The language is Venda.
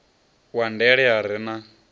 wa ndele a re na